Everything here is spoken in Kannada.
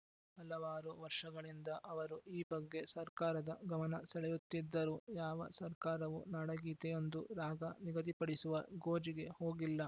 ಹಲವಾರು ವರ್ಷಗಳಿಂದ ಅವರು ಈ ಬಗ್ಗೆ ಸರ್ಕಾರದ ಗಮನ ಸೆಳೆಯುತ್ತಿದ್ದರೂ ಯಾವ ಸರ್ಕಾರವೂ ನಾಡಗೀತೆಗೊಂದು ರಾಗ ನಿಗದಿಪಡಿಸುವ ಗೋಜಿಗೆ ಹೋಗಿಲ್ಲ